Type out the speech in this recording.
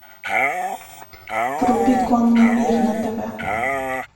вруби конный мир на тв